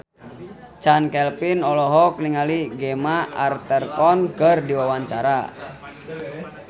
Chand Kelvin olohok ningali Gemma Arterton keur diwawancara